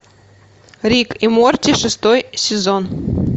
рик и морти шестой сезон